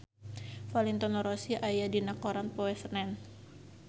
Valentino Rossi aya dina koran poe Senen